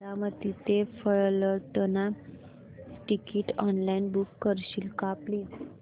बारामती ते Phaltan ticket online book करशील का प्लीज